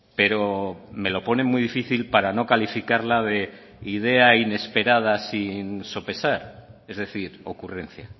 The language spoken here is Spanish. pero me lo pone muy difícil para no calificarla de idea inesperada sin sopesar es decir ocurrencia